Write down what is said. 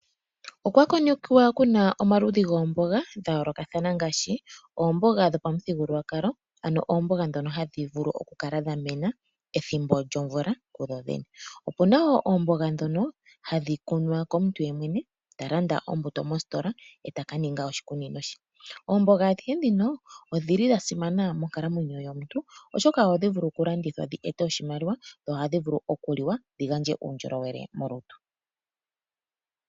Okwakonekiwa kuna omaludhi goomboga gayoolokathana ngaashi oomboga dhopamuthigululwakalo ,ano oomboga dhoka hadhi vulu okukala dha mena pethimbo lyomvula kudhodhene. Opuna wo oomboga dhoka hadhi kunwa komuntu yemwene talanda ombutu mositola eta ka ninga oshikunino shaye. oomboga adhihe dhika odhasimana moonkalamwenyo yo omuntu oshoka ohadhi vulu okulandithwa dhi ete oshimaliwa dho ohadhi vulu okuliwa dhi ete uundjolowele molutu.